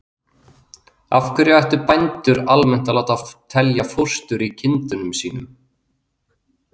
Af hverju ættu bændur almennt að láta telja fóstur í kindunum sínum?